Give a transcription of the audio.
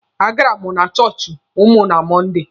A gara m na chọọchị ụnụ na Mọnde.